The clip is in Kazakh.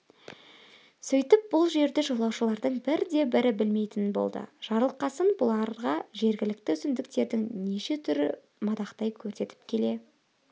сөйтіп бұл жерді жолаушылардың бірде-бірі білмейтін болды жарылқасын бұларға жергілікті өсімдіктердің неше түрін мадақтай көрсетіп келе